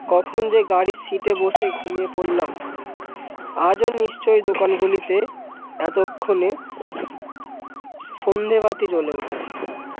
কখন যে গাড়ির site এ বসে ঘুমিয়ে পরলাম আজও নিশ্চয়ই দোকান গুলিতে এতো ক্ষণে সন্ধ্যে বাতি জলে উঠেছে।